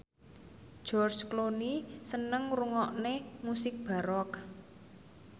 George Clooney seneng ngrungokne musik baroque